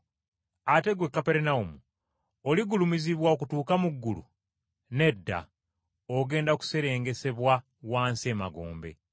Ate ggwe Kaperunawumu, oligulumizibwa okutuuka mu ggulu? Nedda, ogenda kuserengesebwa wansi emagombe.